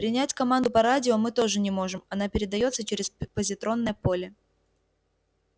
принять команду по радио мы тоже не можем она передаётся через позитронное поле